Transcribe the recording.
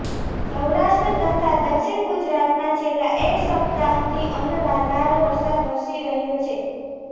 સૌરાષ્ટ્ર તથા દક્ષિણ ગુજરાતમાં છેલ્લા એક સપ્તાહથી અનરાધાર વરસાદ વરસી રહ્યો છે